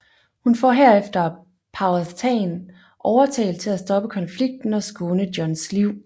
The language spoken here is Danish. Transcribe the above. Hun får herefter Powhatan overtalt til at stoppe konflikten og skåne Johns liv